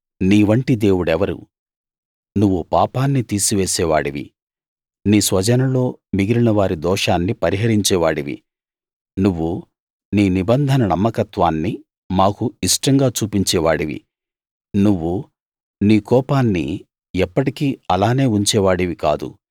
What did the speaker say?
నీ వంటి దేవుడెవరు నువ్వు పాపాన్ని తీసివేసే వాడివి నీ స్వజనంలో మిగిలినవారి దోషాన్ని పరిహరించే వాడివి నువ్వు నీ నిబంధన నమ్మకత్వాన్ని మాకు ఇష్టంగా చూపించే వాడివి నువ్వు నీ కోపాన్ని ఎప్పటికీ అలానే ఉంచేవాడివి కాదు